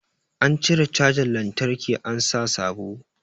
An cire cajan lantraki an sa sabo